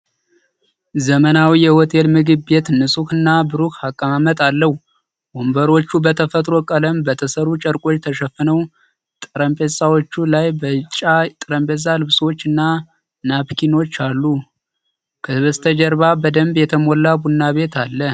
ዘመናዊ የሆቴል ምግብ ቤት ንፁህ እና ብሩህ አቀማመጥ አለው። ወንበሮች በተፈጥሮ ቀለም በተሠሩ ጨርቆች ተሸፍነው ጠረጴዛዎቹ ላይ ቢጫ የጠረጴዛ ልብሶች እና ናፕኪኖች አሉ። ከበስተጀርባ በደንብ የተሞላ ቡና ቤት አለ።